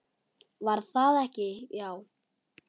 Var það ekki, já!